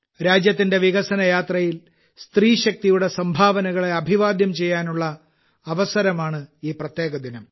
രാജ്യത്തിന്റെ വികസന യാത്രയിൽ സ്ത്രീ ശക്തിയുടെ സംഭാവനകളെ അഭിവാദ്യം ചെയ്യാനുള്ള അവസരമാണ് ഈ പ്രത്യേക ദിനം